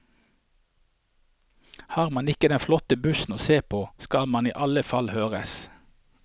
Har man ikke den flotteste bussen å se på, skal man i alle fall høres.